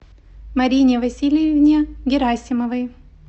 марине васильевне герасимовой